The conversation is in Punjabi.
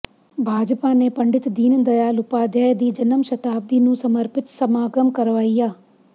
ਭਾਜਪਾ ਨੇ ਪੰਡਿਤ ਦੀਨ ਦਿਆਲ ਉਪਾਧਿਆਇ ਦੀ ਜਨਮ ਸ਼ਤਾਬਦੀ ਨੂੰ ਸਮਰਪਿਤ ਸਮਾਗਮ ਕਰਵਾਇਆ